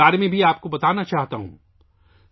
میں آپ کو اس بارے میں بھی بتانا چاہتا ہوں